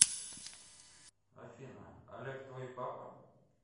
афина олег твой папа